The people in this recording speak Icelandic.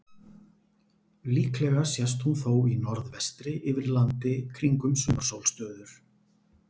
Líklega sest hún þó í norðvestri yfir landi kringum sumarsólstöður.